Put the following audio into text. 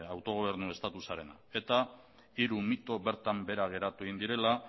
autogobernu statusarena eta hiru mito bertan behera geratu egin direla